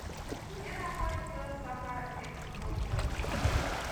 где находится сахаэкспоцентр